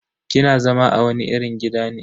Kina zama a wani irin gida ne?